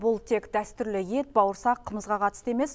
бұл тек дәстүрлі ет бауырсақ қымызға қатысты емес